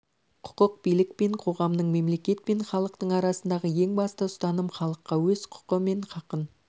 құқық билік пен қоғамның мемлекет пен халықтың арасындағы ең басты ұстаным халыққа өз құқы мен хақын